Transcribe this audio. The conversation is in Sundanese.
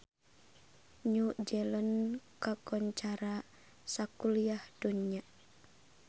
New Zealand kakoncara sakuliah dunya